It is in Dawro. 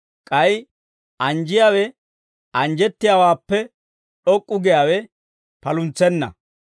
K'ay anjjiyaawe anjjettiyaawaappe d'ok'k'u giyaawe paluntsenna.